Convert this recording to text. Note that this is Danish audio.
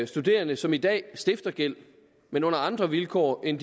studerende som i dag stifter gæld men under andre vilkår end